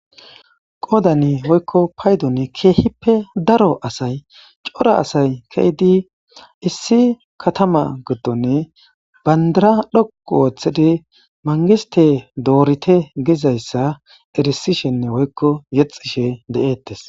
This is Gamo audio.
Qoodani woykko paydon keehippe daro asay cora asay keyydi issi katama gidone bandara dhoqu wooththidi mangiste doorite gizayssa erisishenne woykko yexishe de'ettes.